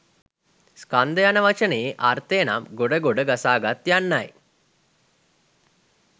ස්කන්ධ යන වචනයේ අර්ථය නම් ගොඩ ගොඩ ගසාගත් යන්නයි.